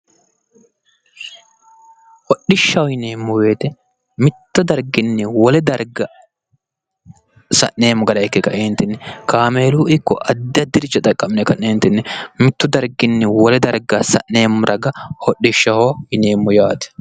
Hodhishshaho yineemmo woyiite mitto darginni wole darga sa'neemmo gara ikke kaeentinni kaameeluni ikko addi addiricho xaqqa'mine ka'neentinni mittu darginni wole darga sa'neemmo raga hodhishshaho yineemmo yaate.